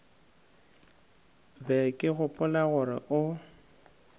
be ke gopola gore o